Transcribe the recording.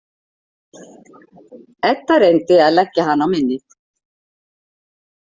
Edda reyndi að leggja hana á minnið.